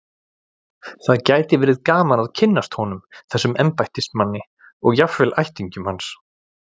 Það gæti verið gaman að kynnast honum, þessum embættismanni, og jafnvel ættingjum hans.